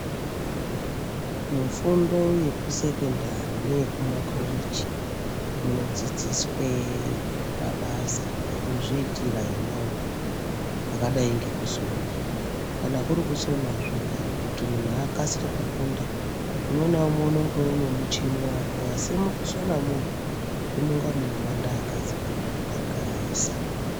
Mufundo yekusekondari neyeku makoleji munodzidziswe mabasa ekuzviitira emaoko akadai ngekusona. Kana kuri kusona zviya kuti munhu akasire kufunda umwe naumwe unonga une muchini wake asi mukusonamwo munonga munowanda akadzi maningi kudarika aisa.